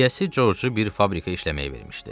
Yiyəsi George-u bir fabrikə işləməyə vermişdi.